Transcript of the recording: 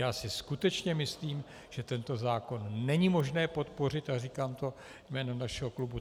Já si skutečně myslím, že tento zákon není možné podpořit, a říkám to jménem našeho klubu.